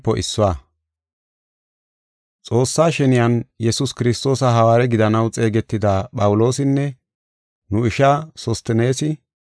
Xoossaa sheniyan Yesuus Kiristoosa hawaare gidanaw xeegetida Phawuloosinne, nu isha Sosteneesi,